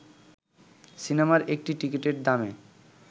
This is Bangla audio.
সিনেমার একটি টিকিটের দামে